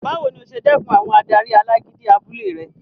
Báwo ni o ṣe dẹkùn àwọn adarí alágídí abúlé rẹ?